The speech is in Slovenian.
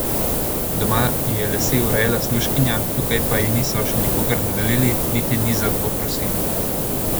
Doma ji je lase urejala služkinja, tukaj pa ji niso še nikogar dodelili niti ni za to prosila.